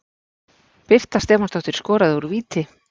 Birta Stefánsdóttir skoraði úr víti.